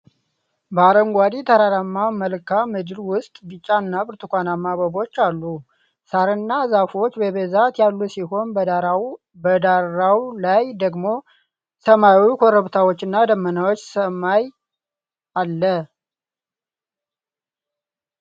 በአረንጓዴ ተራራማ መልክዓ ምድር ውስጥ ቢጫ እና ብርቱካንማ አበቦች አሉ። ሣርና ዛፎች በብዛት ያሉ ሲሆን፣ በዳራው ላይ ደግሞ ሰማያዊ ኮረብታዎችና ደመናማ ሰማይ አለ።